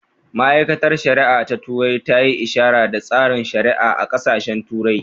Ma’aikatar shari’a ta turai ta yi ishara da tsarin shari’a a ƙasashen turai